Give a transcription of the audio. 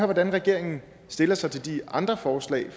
hvordan regeringen stiller sig til de andre forslag